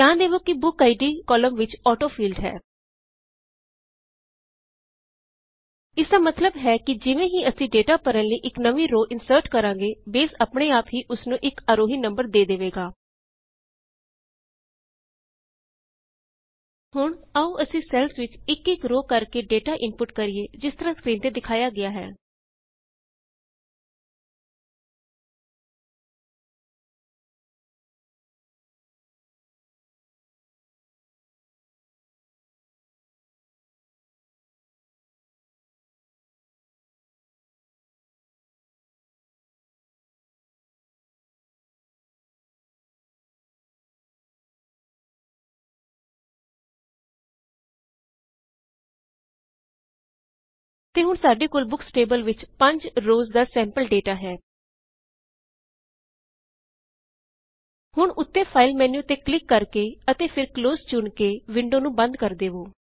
ਧਿਆਨ ਦੇਵੋ ਕੀ ਬੁਕਆਈਡੀ ਕੌਲਮ ਵਿੱਚ ਔਟੋ ਫੀਲਡ ਹੈ ਇਸਦਾ ਮਤਲਬ ਹੈ ਕਿ ਜਿਵੇਂ ਹੀ ਅਸੀ ਡੇਟਾ ਭਰਣ ਲਈ ਇਕ ਨਵੀਂ ਰੋ ਇਨਸਰਟ ਕਰਾਂ ਗੇ ਬੇਸ ਅਪਣੇ ਆਪ ਹੀ ਓਸ ਨੂੰ ਇਕ ਆਰੋਹੀ ਨਮਬਰ ਦੇ ਦੇਵੇ ਗਾ ਹੁਣ ਆਓ ਅਸੀ ਸੈਲਜ਼ ਵਿੱਚ ਇਕ ਇਕ ਰੇ ਕਰਕੇ ਡੇਟਾ ਇਨਪੁਟ ਕਰਿਏ ਜਿਸ ਤਰਹ ਕਿ ਸਕ੍ਰੀਨ ਤੇ ਦਿਖਾਇਆ ਗਇਆ ਹੈ ਤੇ ਹੁਣ ਸਾਡੇ ਕੋਲ ਬੁਕਸ ਟੇਬਲ ਵਿੱਚ 5 ਰੋਜ਼ ਦਾ ਸੈਮਪਲ ਡੇਟਾ ਹੈ ਹੁਣ ਉੱਤੇ ਫਾਇਲ ਮੈਨੂ ਤੇ ਕਰਿਕ ਕਰਕੇ ਅਤੇ ਫੇਰ ਕਲੋਜ਼ ਚੁਣ ਕੇ ਵਿੰਡੋ ਨੂੰ ਬੰਦ ਕਰ ਦਵੋ